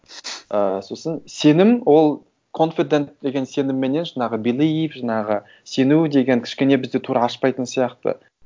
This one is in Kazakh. і сосын сенім ол конфидент деген сенімменен жаңағы белив жаңағы сену деген кішкене бізде тура ашпайтын сияқты